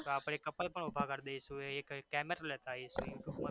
તો આપણે couple પણ ઉભા કરી દઈશું એક camero લેતા આઈશું